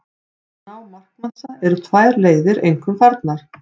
Til að ná markmassa eru tvær leiðir einkum farnar.